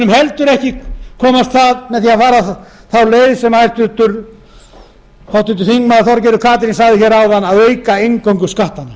heldur ekki komast það með því að fara þá leið sem háttvirtur þingmaður þorgerður katrín gunnarsdóttir talaði um hér áðan að auka eingöngu skattana